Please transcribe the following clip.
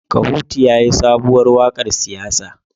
Kahutu yayi sabuwar wakar siyasa